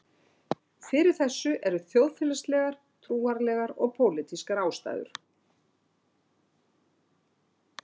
Fyrir þessu eru þjóðfélagslegar, trúarlegar og pólitískar ástæður.